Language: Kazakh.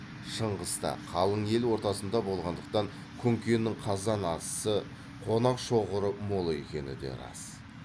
шыңғыста қалың ел ортасында болғандықтан күнкенің қазан асысы қонақ шоғыры мол екені де рас